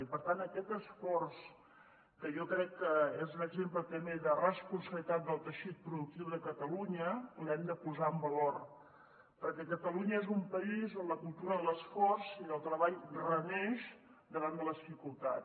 i per tant aquest esforç que jo crec que és un exemple també de responsabilitat del teixit productiu de catalunya l’hem de posar en valor perquè catalunya és un país on la cultura de l’esforç i del treball reneix davant les dificultats